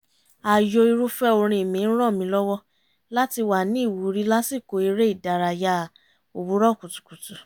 ààyò irúfẹ́ orin mi ń ràn mí lọ́wọ́ láti wà ní ìwúrí lásìkò eré ìdárayá òwúrọ̀ kùtùkùtù